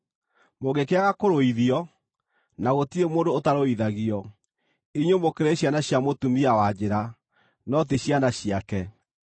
Mũngĩkĩaga kũrũithio (na gũtirĩ mũndũ ũtarũithagio), inyuĩ mũkĩrĩ ciana cia mũtumia wa njĩra, no ti ciana ciake.